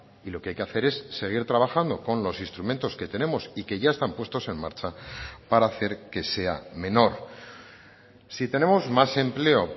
y lo que hay que hacer es seguir trabajando con los instrumentos que tenemos y que ya están puestos en marcha para hacer que sea menor si tenemos más empleo